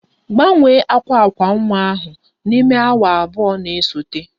Gbanwee akwa akwa nwa ahụ n'ime awa abụọ na-esote!